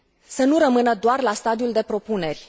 să nu rămână doar la stadiul de propuneri.